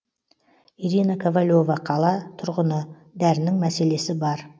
ирина ковалева қала тұрғыны дәрінің мәселесі бар